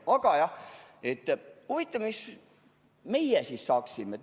Aga jah, huvitav, mis meie siis saaksime.